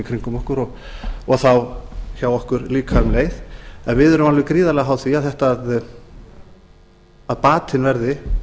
kringum okkur og hjá okkur þá líka um leið en við erum alveg gríðarlega háð því að batinn verði